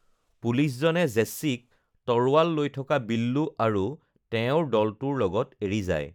পুলিচজনে জেচ্ছিক তৰোৱাল লৈ থকা বিল্লু আৰু তেওঁৰ দলটোৰ লগত এৰি যায়৷